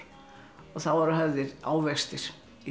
og þá voru hafðir ávextir